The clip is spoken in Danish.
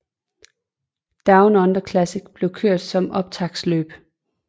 Down Under Classic blev kørt som optaktsløb